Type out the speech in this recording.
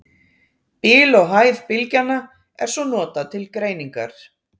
Bil og hæð bylgjanna er svo notað til greiningar.